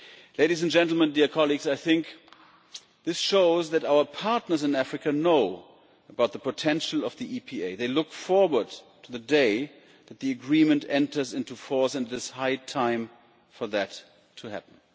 Ladies and gentlemen, dear colleagues, I think this shows that our partners in Africa know about the potential of the EPA. They look forward to the day that the Agreement enters into force and it is high time for that to happen.